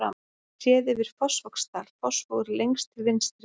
Séð yfir Fossvogsdal, Fossvogur lengst til vinstri.